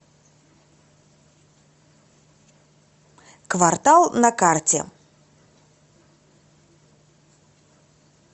квартал на карте